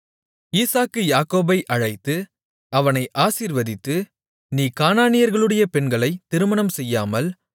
ஈசாக்கு யாக்கோபை அழைத்து அவனை ஆசீர்வதித்து நீ கானானியர்களுடைய பெண்களைத் திருமணம் செய்யாமல்